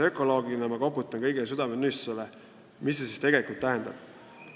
Ökoloogina ma koputan siin kõigi südametunnistusele: mida see tootmisviis tegelikult tähendab?